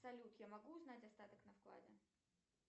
салют я могу узнать остаток на вкладе